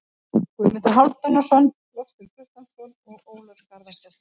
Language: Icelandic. Guðmundur Hálfdanarson, Loftur Guttormsson og Ólöf Garðarsdóttir.